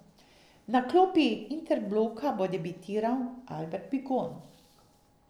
Na klopi Interbloka bo debitiral Albert Bigon.